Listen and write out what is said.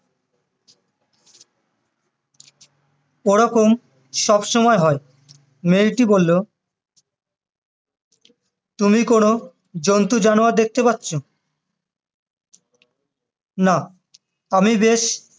ওরকম সবসময় হয় মেয়েটি বললো তুমি কোনো জন্তু জানোয়ার দেখতে পাচ্ছ না আমি বেশ